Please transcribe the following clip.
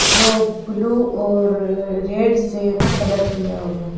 जो ब्लू और रेड से कलर किया हुआ है।